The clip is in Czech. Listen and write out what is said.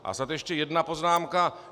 A snad ještě jedna poznámka.